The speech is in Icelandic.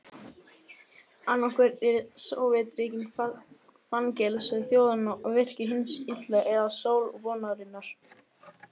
Annaðhvort eru Sovétríkin fangelsi þjóðanna og virki hins illa eða sól vonarinnar.